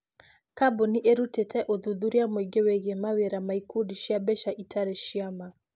Kambuni ĩrutite ũthuthuria mũingĩ wĩgiĩ mawĩra ma ikundi cia mbeca itarĩ cia ma.